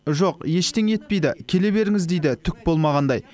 жоқ ештеңе етпейді келе беріңіз дейді түк болмағандай